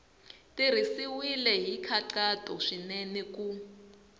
tirhisiwile hi nkhaqato swinene ku